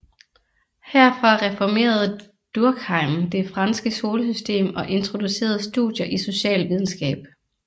Herfra reformerede Durkheim det franske skolesystem og introducerede studier i socialvidenskab